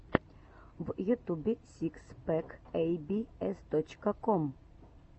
в ютубе сикс пэк эй би эс точка ком